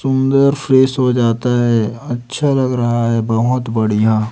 सुंदर फेस हो जाता है अच्छा लग रहा है बहोत बढ़िया--